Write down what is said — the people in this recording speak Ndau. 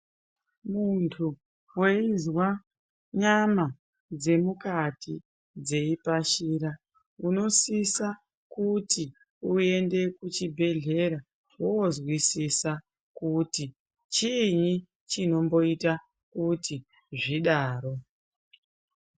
Muntu weizwa nyama dzemukati dziyi tashira unosisa kuti uende kuchibhedlera woonzwisisa kuti chini chinomboita kuti zvidaro.